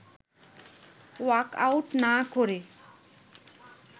walkout না করে